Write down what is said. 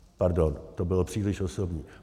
- Pardon, to bylo příliš osobní.